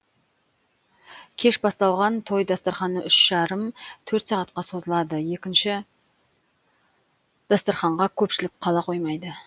кеш басталған той дастарқаны үш жарым төрт сағатқа созылады екінші дастарқанға көпшілік қала қоймайды